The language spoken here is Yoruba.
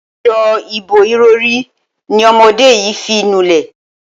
As̩o̩ ìbo-ìrò̩rí ni o̩mo̩dé yìí fi ń nulè̩.